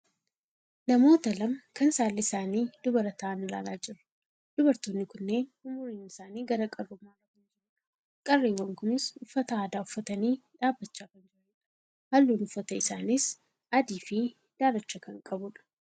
namoota lama kan saalli isaanii dubara ta'an ilaalaa jirra. Dubartoonni kunneen umuriin isaanii gara qarrummaarra kan jirudha. qarreewwan kunis uffata aadaa uffatanii dhabbachaa kan jiranidha. halluun uffata isaaniis adiifi daalacha kan qabudha.